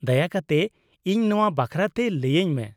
-ᱫᱟᱭᱟ ᱠᱟᱛᱮ ᱤᱧ ᱱᱚᱶᱟ ᱵᱟᱠᱷᱨᱟᱛᱮ ᱞᱟᱹᱭᱟᱹᱧ ᱢᱮ ᱾